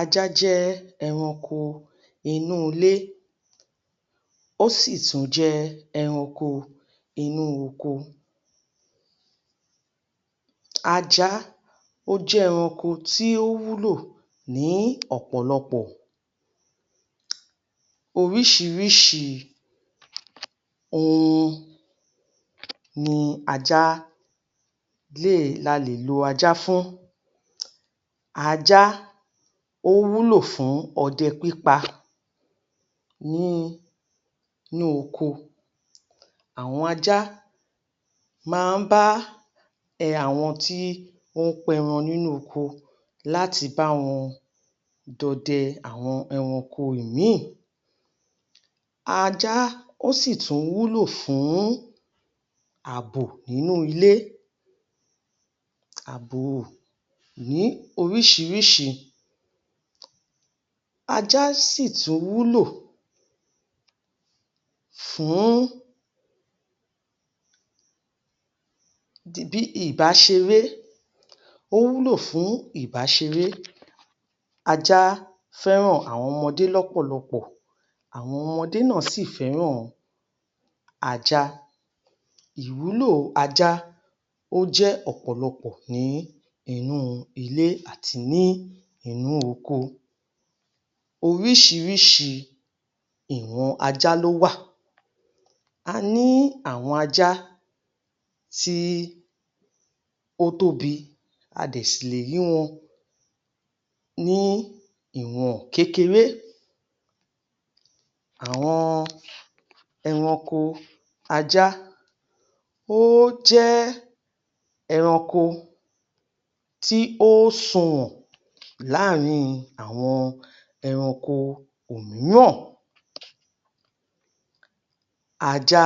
Ajá jẹ́ ẹranko inú ilé, ó sì tún jẹ́ ẹranko inú oko. Ajá, ó jẹ́ ẹranko tí ó wúlò ní ọ̀pọ̀lọpọ̀. Oríṣiríṣi ohun ni ajá lè la lè lo ajá fún. Ajá, ó wúlò fún ọdẹ pípa nínú oko. Àwọn ajá máa ń bá ẹ àwọn tí ó pẹran nínú oko láti bá wọn dọdẹ àwọn ẹranko ìmíì. Ajá, ó sì tún wúlò fún àbò nínú ilé. Àbò ní oríṣiríṣi. ajá sì tún wúlò fún um ìbáṣeré. O wúlò fún ìbáṣeré. Ajá fẹ́ràn àwọn ọmọdé lọ́pọ̀lọpọ̀. Àwọn ọmọdé náà sì fẹ́ràn ajá. Ìwúlò ajá ó jẹ́ ọ̀pọ̀lọpọ̀ ní inú ilé àti ní inú oko. Oríṣiríṣi ìwọn ajá ló wà. A ní àwọn ajá tí ó tóbi, a dẹ̀ ṣì lè rí wọn ní ìwọ̀n kékeré. Àwọn ẹranko ajá, ó jẹ́ ẹranko tí ó sunwọ̀n láàrin àwọn ẹranko òmíràn. Ajá,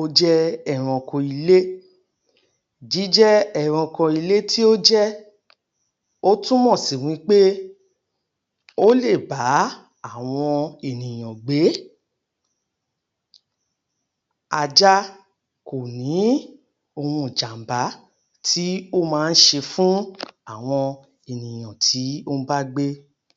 ó jẹ́ ẹranko ilé. Jíjẹ́ ẹranko ilé tí ó jẹ́, ó túmọ̀ sí wí pé ó lè bá àwọn ènìyàn gbé. Ajá kò ní ohun ìjàm̀bá tí ó ma ń ṣe fún àwọn ènìyàn tí ó ń bá gbé.